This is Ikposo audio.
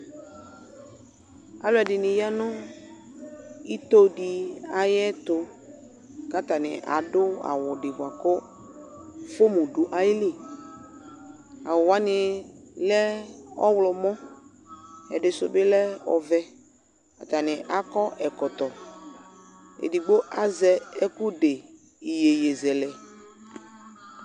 Alʋɛdɩnɩ ya nʋ itodɩ ayɛtʋ : k'atanɩ adʋ awʋdɩ bʋa kʋ fomu dʋ ayili Awʋ wanɩ lɛ ɔɣlɔmɔ , ɛdɩsʋ bɩ lɛ ɔvɛ Atanɩ akɔ ɛkɔtɔ ; edigbo azɛ ɛkʋ de iyeyezɛlɛ